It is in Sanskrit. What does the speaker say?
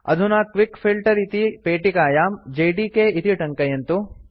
अधुना क्विक फिल्टर इति पेटिकायां जेडीके इति टङ्कयन्तु